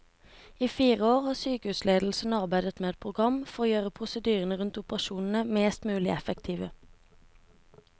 I fire år har sykehusledelsen arbeidet med et program for å gjøre prosedyrene rundt operasjonene mest mulig effektive.